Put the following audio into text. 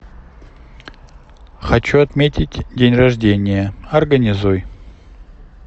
хочу отметить день рождения организуй